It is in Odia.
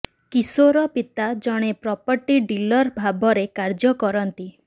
କିଶୋର ପିତା ଜଣେ ପ୍ରପର୍ଟି ଡିଲର ଭାବରେ କାର୍ଯ୍ୟ କରନ୍ତି